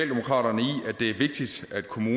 kunne